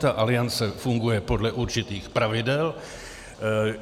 Ta Aliance funguje podle určitých pravidel.